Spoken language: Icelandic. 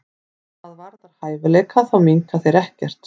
Hvað varðar hæfileika þá minnka þeir ekkert.